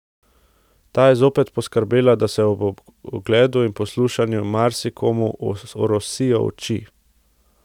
Ta je zopet poskrbela, da se ob ogledu in poslušanju, marsikomu orosijo oči.